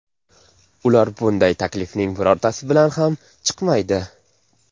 Ular bunday taklifning birortasi bilan ham chiqmaydi.